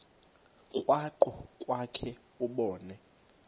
krwaqu kwakhe ubone